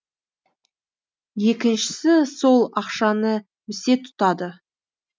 екіншісі сол ақшаны місе тұтады